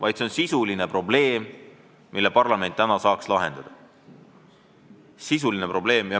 Tegu on sisulise probleemiga, mille parlament saaks täna lahendada.